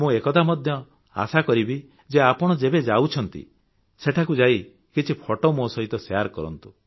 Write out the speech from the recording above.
ମୁଁ ଏକଥା ମଧ୍ୟ ଆଶା କରିବି ଯେ ଆପଣ ଯେବେ ଯାଉଛନ୍ତି ସେଠାକୁ ଯାଇ କିଛି ଫଟୋ ମୋ ସହିତ ଶେୟାର କରନ୍ତୁ